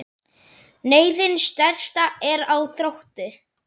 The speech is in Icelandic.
Neyðin stærsta er á þroti.